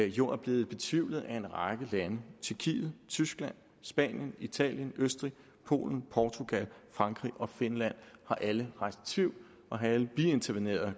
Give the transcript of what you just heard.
jo er blevet betvivlet af en række lande tjekkiet tyskland spanien italien østrig polen portugal frankrig og finland har alle rejst tvivl og har alle biinterveneret